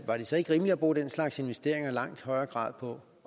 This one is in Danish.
så ikke rimeligt at bruge den slags investeringer i langt højere grad på